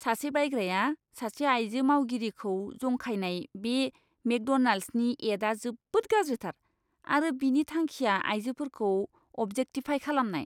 सासे बायग्राया सासे आइजो मावगिरिखौ जंखायनाय बे मेकड'नाल्ड्सनि एडआ जोबोद गाज्रिथार आरो बिनि थांखिआ आइजोफोरखौ अबजेक्टिफाइ खालामनाय!